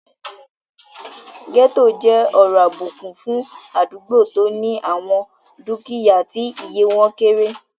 Gẹ́ẹ́tò jẹ́ ọ̀rọ̀ àbùkù fún àdúgbò tó ní àwọn dúkìyá tí iye wọ́n kéré